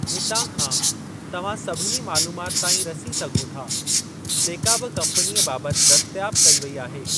हितां खां, तव्हां सभिनी मालूमात ताईं रसी सघो था, जेका बि कम्पनीअ बाबति दस्तयाब कई वेई आहे।